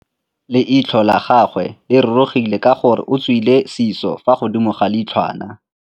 Leitlhô la gagwe le rurugile ka gore o tswile sisô fa godimo ga leitlhwana.